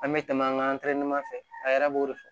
An bɛ tɛmɛ an ka fɛ a yɛrɛ b'o de fɔ